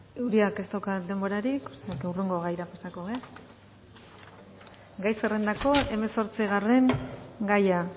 uriak ez dauka denborarik o sea que hurrengo gaira pasako gara gai zerrendako hamazortzigarren gaia